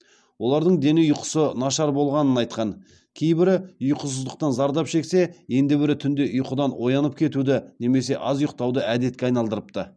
олардың дені ұйқысы нашар болғанын айтқан кейбірі ұйқысыздықтан зардап шексе енді бірі түнде ұйқыдан оянып кетуді немесе аз ұйықтауды әдетке айналдырыпты